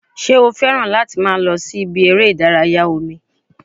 Ṣé o fẹ́ràn láti máa lọ sí ibi eré ìdárayá omi?